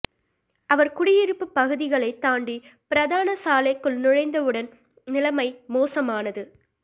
அவர் குடியிருப்புப் பகுதிகளை தாண்டி பிரதான சாலைக்குள் நுழைந்தவுடன் நிலைமை மோசமானது